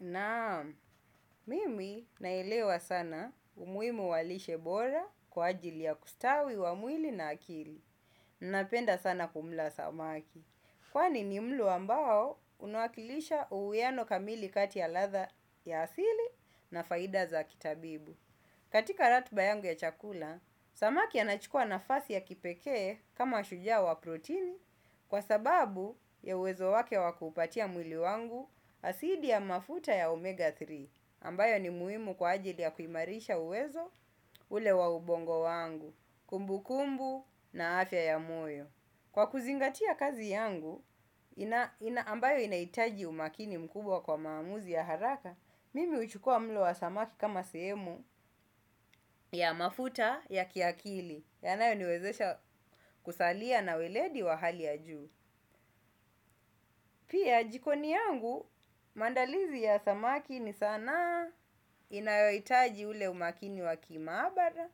Naam, mimi naelewa sana umuimu wa lishe bora kwa ajili ya kustawi wa mwili na akili. Napenda sana kumla samaki. Kwani ni mlo ambao unawakilisha uweano kamili kati ya ladha ya asili na faida za kitabibu. Katika ratba yangu ya chakula, samaki anachukua nafasi ya kipeke kama shujaa wa protini. Kwa sababu ya uwezo wake wakupatia mwili wangu asidi ya mafuta ya omega tatu ambayo ni muhimu kwa ajili ya kuimarisha uwezo ule waubongo wangu kumbu kumbu na afya ya moyo kwa kuzingatia kazi yangu ambayo inahitaji umakini mkubwa kwa maamuzi ya haraka. Mimi huchukua mlo wa samaki kama semu ya mafuta ya kiakili yanayo niwezesha kusalia na weledi wa hali ya juu. Pia, jikoni yangu, maandalizi ya samaki ni sanaa inayohitaji ule umakini wakima abara.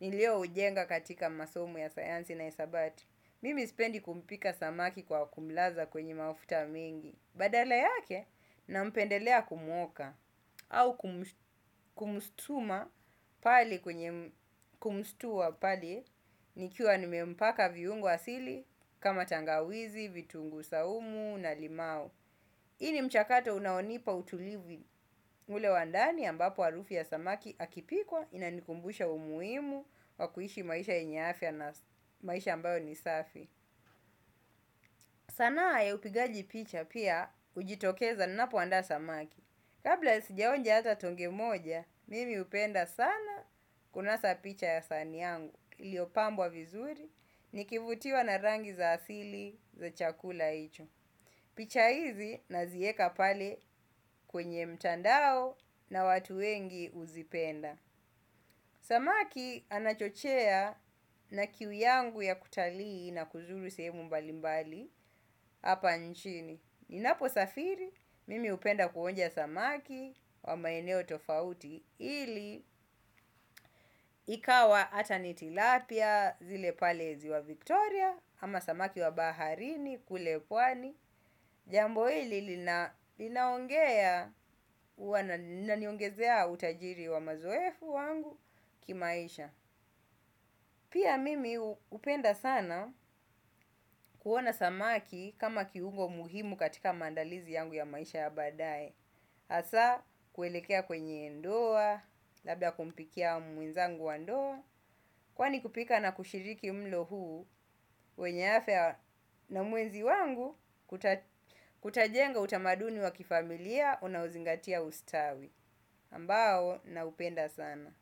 Nileo ujenga katika masomo ya sayansi na hisabati. Mimi sipendi kumpika samaki kwa kumlaza kwenye mafuta mingi. Badala yake, nampendelea kumwoka. Au kumshtua pale nikiwa nimempaka viungu asili kama tangawizi, vitungu saumu na limau. Hii ni mchakato unaonipa utulivu ule wandani ambapo harufi ya samaki akipikwa inanikumbusha umuhimu wa kuhishi maisha yenye afya na maisha ambayo nisafi. Sanaa ya upigaji picha pia hujitokeza napo andaa samaki. Kabla sijaonja hata tonge moja, mimi hupenda sana kunasa picha ya sahani yangu iliyopambwa vizuri nikivutiwa na rangi za asili za chakula hicho. Picha hizi nazieka pale kwenye mtandao na watu wengi huzipenda. Samaki anachochea na kiu yangu ya kutalii na kuzuru sehemu nyingi hapa nchini. Ninapo safiri, mimi hupenda kuonja samaki wa maeneo tofauti ili ikawa hata ni tilapia zile pale ziwa Victoria ama samaki wa baharini kule pwani. Jambo hili linaongezea utajiri wa mazoefu wangu kimaisha. Pia mimi hupenda sana kuona samaki kama kiungo muhimu katika maandalizi yangu ya maisha ya baadae hasaa kuelekea kwenye ndoa labda kumpikia mwenzangu wa ndoa kwani kupika na kushiriki mlo huu wenye afya na muenzi wangu kutajenga utamaduni wa kifamilia unauzingatia ustawi. Ambao naupenda sana.